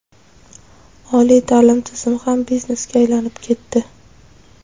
Oliy ta’lim tizimi ham biznesga aylanib ketdi.